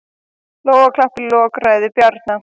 Lófaklapp í lok ræðu Bjarna